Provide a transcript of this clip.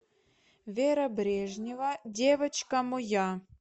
вера брежнева девочка моя